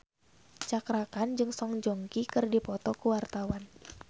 Cakra Khan jeung Song Joong Ki keur dipoto ku wartawan